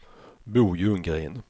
Bo Ljunggren